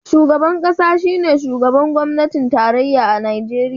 Shugaban kasa shine shugaban gwamnatin tarayya a Najeriya.